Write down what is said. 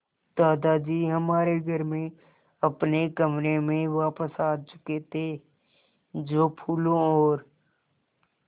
दादाजी हमारे घर में अपने कमरे में वापस आ चुके थे जो फूलों और